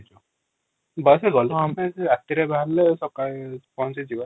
bus ରେ ଗଲେ ହଅନ୍ତା ଯେ ରାତିରେ ବାହାରିଲେ ସକାଳେ ପହଞ୍ଚିଯିବା ।